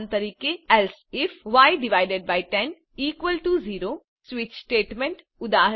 ઉદાહરણ તરીકેelse ifય10 ઇક્વલ્સ ટીઓ 0 સ્વીચ સ્ટેટમેન્ટ